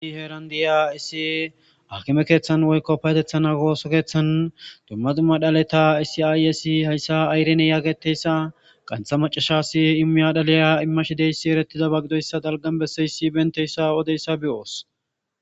i heeran diya issi akime keeththan woykko payetetha ooso keeththan dumma dumma dhaleta issi aayssa hayissa irene yaageteyssa qantha macashasi imiya dhaliya immashideyssi erettida ba gidoyssa dalgan besseyssi benteyssa odeyssa beyoos.